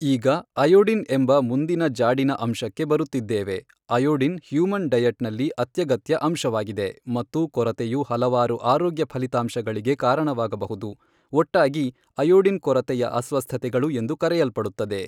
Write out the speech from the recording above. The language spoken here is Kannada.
ಈಗ ಅಯೋಡಿನ್ ಎಂಬ ಮುಂದಿನ ಜಾಡಿನ ಅಂಶಕ್ಕೆ ಬರುತ್ತಿದ್ದೇವೆ ಅಯೋಡಿನ್ ಹ್ಯೂಮನ್ ಡಯಟ್ ನಲ್ಲಿ ಅತ್ಯಗತ್ಯ ಅಂಶವಾಗಿದೆ ಮತ್ತು ಕೊರತೆಯು ಹಲವಾರು ಆರೋಗ್ಯ ಫಲಿತಾಂಶಗಳಿಗೆ ಕಾರಣವಾಗಬಹುದು ಒಟ್ಟಾಗಿ ಅಯೋಡಿನ್ ಕೊರತೆಯ ಅಸ್ವಸ್ಥತೆಗಳು ಎಂದು ಕರೆಯಲ್ಪಡುತ್ತದೆ.